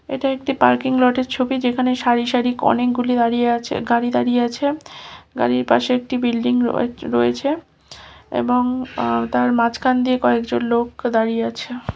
এটা একটা পারকিং লটের ছবি যেখানে সারি অনেক গুলো গাড়ি দাঁড়িয়ে আছে গাড়ির পশে একটি বিল্ডিং রয়েছে এবং এটার মাঝখান দিয়ে কয়েক জন লোক দাঁড়িয়ে আছে।